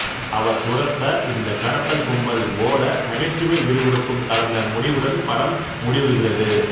அவர் துரத்த இந்த கடத்தல் கும்பல் ஓட நகைச்சுவை விறுவிறுப்பும் கலந்த முடிவுடன் படம் முடிவுறுகிறது